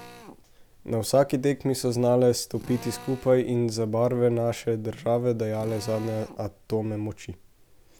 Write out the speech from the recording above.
Na vsaki tekmi smo znale stopiti skupaj in za barve naše države dajale zadnje atome moči.